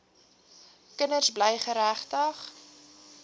kinders bly geregtig